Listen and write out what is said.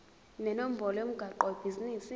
nenombolo yomgwaqo webhizinisi